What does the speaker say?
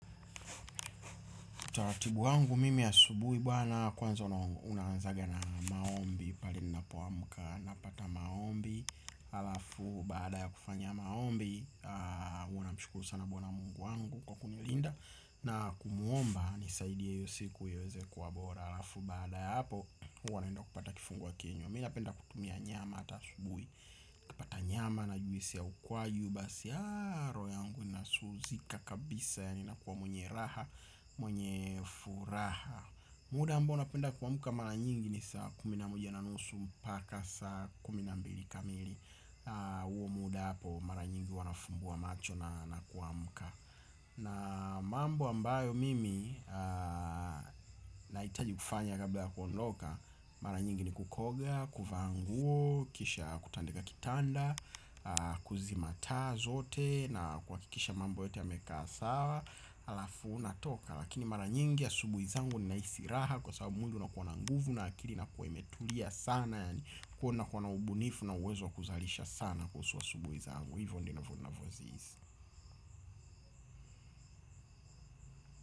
Utaratibu wangu mimi asubuhi bwana kwanza una unaanzaga na maombi pale ninapoamka napata maombi halafu baada ya kufanya maombi namshukuru sana bwana mungu wangu kwa kunilinda. Na kumuomba nisaidie hiyo siku iweze kuwa bora. Alafu baada ya hapo huwa naenda kupata kifungua kinywa. Mi napenda kutumia nyama ata asubuhi nikipata nyama na juisi ya ukwaju basi roho yangu inasuuzika kabisa yani nakuwa mwenye raha, mwenye furaha. Muda ambao napenda kuamka mara nyingi ni saa kumi na moja na nusu mpaka saa kumi na mbili kamili. Huo muda hapo mara nyingi huwa nafungua macho na kuamka. Na mambo ambayo mimi nahitaji kufanya kabla ya kuondoka. Mara nyingi ni kukoga, kuvaa nguo, kisha kutandika kitanda. Kuzima taa zote na kuhakikisha mambo yote yamekaa sawa. Alafu unatoka lakini mara nyingi ya asubuhi zangu nahisi raha. Kwa sababu mwili una kuwa na nguvu na akili inakuwa imetulia sana yani. Kwahiyo na kuwa na ubunifu na uwezo kuzalisha sana kuhusu asubuhi zangu. Hivyo ndivyo ninavozihisi.